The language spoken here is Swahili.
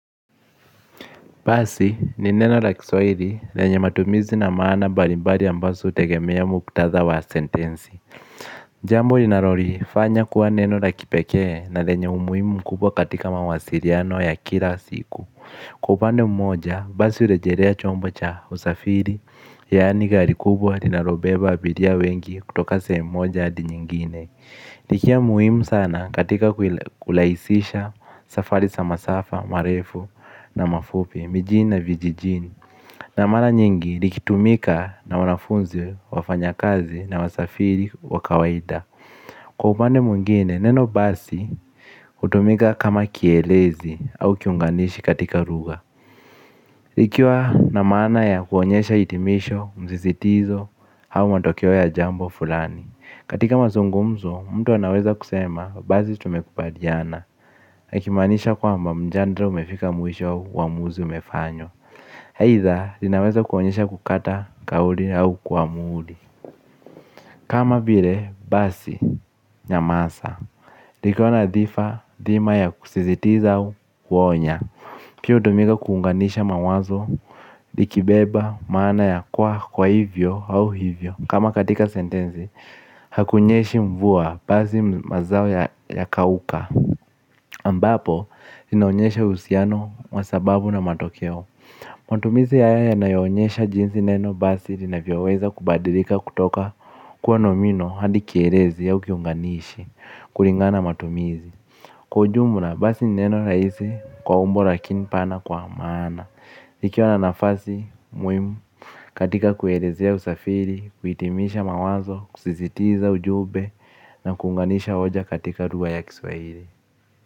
Basi ni neno la kiswairi lenye matumizi na maana balimbari ambasu hutegemea mkutatha wa sentensi. Jambo linarori fanya kuwa neno la kipekee na lenye umuimu mkubwa katika mawasiriano ya kira siku. Kwa upande mmoja basi ulejerea chombo cha usafiri yaani gari kubwa linarobeba abiria wengi kutoka sehemu moja hadi nyingine. Likia muhimu sana katika kulaisisha safari sa masafa, marefu na mafupi, mijini na vijijini. Na mara nyingi likitumika na wanafunzi wafanya kazi na wasafiri wakawaida. Kwa upande mwingine, neno basi hutumika kama kielezi au kiunganishi katika ruga ikiwa na maana ya kuonyesha itimisho, mzisitizo au matokeo ya jambo fulani. Katika mazungumzo, mtu anaweza kusema, bazi tumekubaliana akimanisha kwa mba mjandra umefika mwisho uamuzi umefanywa. Haitha, inaweza kuonyesha kukata kauli au kuamuli. Kama bire, basi, nyamasa. Likona dhifa, dhima ya kusizitiza kuonya. Pia hutumika kuunganisha mawazo, likibeba, maana ya kwa kwa hivyo au hivyo. Kama katika sentenzi, hakunyeshi mvua basi mazao ya kauka ambapo, inaonyesha uhusiano masababu na matokeo. Matumizi haya yanyonyesha jinsi neno basi, lina vyoweza kubadilika kutoka kuwa nomino hadikierezi ya ukiunganishi, kuringana matumizi kwa ujumla basi ni neno raisi, kwa umbo lakinipana kwa maana. Ikiwa na nafasi, muhimu, katika kuelezea usafiri, kuitimisha mawazo, kusizitiza ujube na kunganisha oja katika ruga ya kiswahiri.